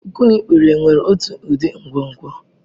Ụkwụ na ikpere nwere otu ụdị nkwonkwo.